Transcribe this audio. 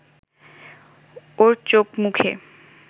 ওর চোখ-মুখে